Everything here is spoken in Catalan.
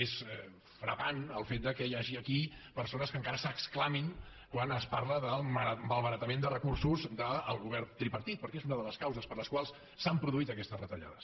és frapant el fet que hi hagi aquí persones que encara s’exclamin quan es parla del malbaratament de recursos del govern tripartit perquè és una de les causes per les quals s’han produït aquestes retallades